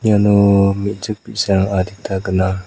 iano me·chik bi·sarang adita gnang.